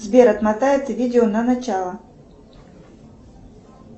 сбер отмотай это видео на начало